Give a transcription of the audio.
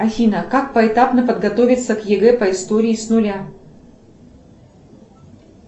афина как поэтапно подготовиться к егэ по истории с нуля